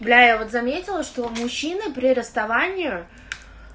бля я вот заметила что мужчины при расставании